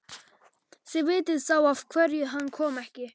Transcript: Þið vitið þá af hverju hann kom ekki.